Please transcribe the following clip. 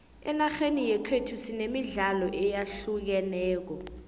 enarheni yekhethu sinemidlalo eyahlukeneko